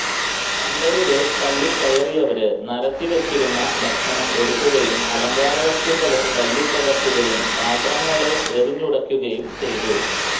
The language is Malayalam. പന്തലില് തള്ളിക്കയറിയവര് നരത്തിവച്ചിരുന്നു ഭക്ഷണം എടുക്കുകയും അലങ്കാരവസ്തുക്കള് തല്ലിത്തകര്ക്കുകയും പാത്രങ്ങല് എറിഞ്ഞുടയ്ക്കുകയും ചെയ്തു